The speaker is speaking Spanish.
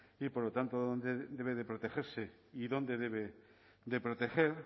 y por lo tanto dónde debe de protegerse y dónde debe de proteger